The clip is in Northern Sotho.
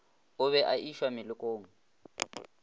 o be a išwa melokong